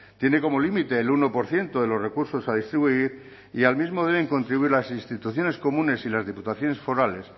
tiene como límite el uno por ciento de los recursos a distribuir y al mismo deben contribuir las instituciones comunes y las diputaciones forales